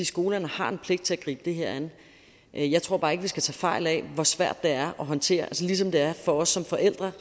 skolerne har en pligt til at gribe det her an jeg tror bare ikke vi skal tage fejl af hvor svært det er at håndtere altså ligesom det er rigtig for os som forældre